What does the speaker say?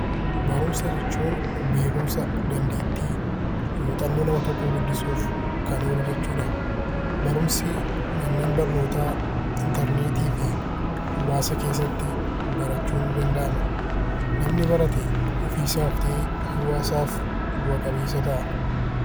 Barumsa jechuun beekumsa dandeettii muuxannoo nama tokkoo guddisuuf kan oolu jechuudha. Barumsi manneen barnootaa interneetii fi hawaasa keessatti barachuun ni danda'ama. Namni barate ofii isaaf ta'ee hawaasa isaaf bu'a qabeessa ta'a.